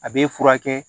A bɛ furakɛ